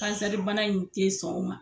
Kansɛribana in tɛ sɔn o ma.